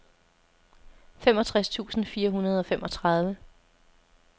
femogtres tusind fire hundrede og femogtredive